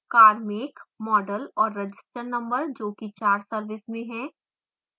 car make model और register number जो कि car service में हैं